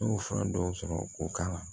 N y'o fura dɔw sɔrɔ o kan